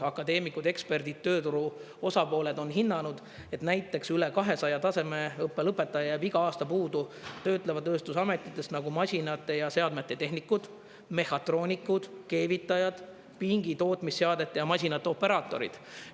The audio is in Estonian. Akadeemikud, eksperdid, tööturu osapooled on hinnanud, et näiteks üle 200 tasemeõppe lõpetaja jääb iga aasta puudu töötleva tööstuse ametitest, nagu masinate ja seadmete tehnikud, mehhatroonikud, keevitajad, pingi tootmisseadmete ja masinate operaatorid.